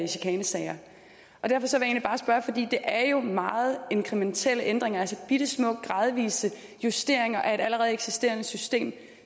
chikanesager og det er jo meget inkrementelle ændringer altså bittesmå gradvise justeringer af et allerede eksisterende system